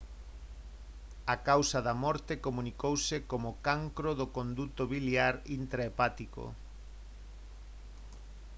a causa da morte comunicouse como cancro do conduto biliar intrahepático